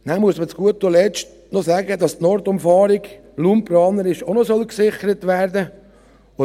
Dann muss man zu guter Letzt noch sagen, dass die Nordumfahrung raumplanerisch auch noch gesichert werden soll.